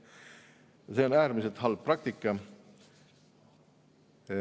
Ja see on äärmiselt halb praktika.